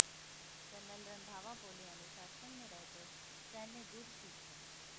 colonel Randhawa बोले अनुशासन में रहकर सैन्य गुर सीखें